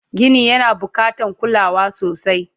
Gini yana bukatan kulawa sosai